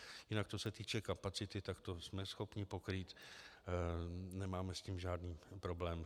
Jinak co se týče kapacity, tak to jsme schopni pokrýt, nemáme s tím žádný problém.